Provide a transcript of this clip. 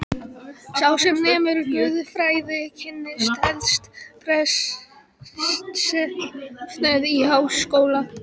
Sá sem nemur guðfræði, kynnist helst prestsefnum í háskóla.